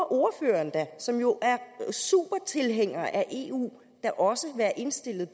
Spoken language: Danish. ordføreren som jo er super tilhænger af eu da også være indstillet